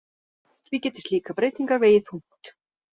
Því geti slíkar breytingar vegið þungt